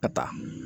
Ka taa